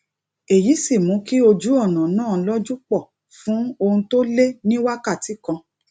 èyí sì mú kí ojú ònà náà lojupo fún ohun tó lé ní wákàtí kan